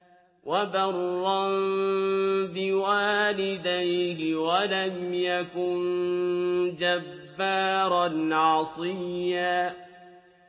وَبَرًّا بِوَالِدَيْهِ وَلَمْ يَكُن جَبَّارًا عَصِيًّا